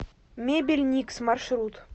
мебель никс маршрут